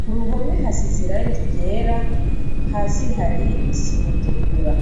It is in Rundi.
kuruhome hasiz' irangi ryera hasi har' isim' itukura.